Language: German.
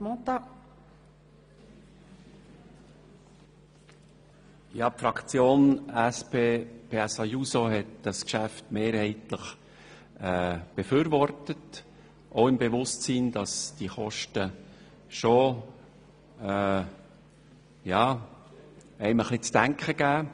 Die SP-JUSO-PSA-Fraktion hat das Geschäft mehrheitlich befürwortet im Bewusstsein, dass einem die Kosten schon zu denken geben.